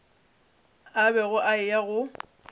a bego a eya go